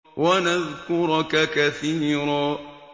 وَنَذْكُرَكَ كَثِيرًا